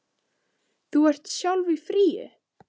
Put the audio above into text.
Þú ert sjálf í fríi.